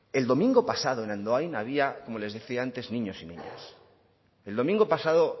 el domingo pasado en andoain había como les decía antes niños y niñas el domingo pasado